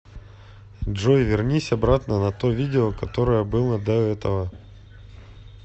джой вернись обратно на то видео которое было до этого